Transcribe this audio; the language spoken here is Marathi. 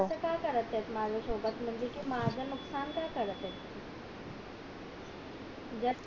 असं का करत येत माझ्या सोबत म्हणजे कि म्हणजे कि माझं नुकसान का करत येत